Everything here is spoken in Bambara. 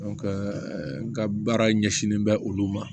n ka baara ɲɛsinnen bɛ olu ma